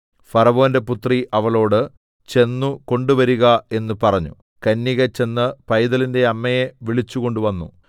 ഫറവോന്റെ പുത്രി അവളോട് ചെന്ന് കൊണ്ടുവരുക എന്ന് പറഞ്ഞു കന്യക ചെന്ന് പൈതലിന്റെ അമ്മയെ വിളിച്ചുകൊണ്ടുവന്നു